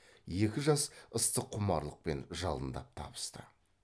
екі жас ыстық құмарлықпен жалындап табысты